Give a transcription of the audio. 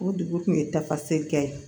O dugu kun ye tafaseli kɛ ye